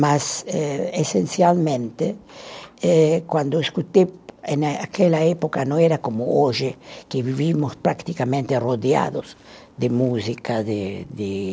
Mas, eh essencialmente, é quando escutei, eh naquela época não era como hoje, que vivíamos praticamente rodeados de música, de de